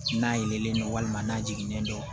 N'a yelenlen don walima n'a jiginnen don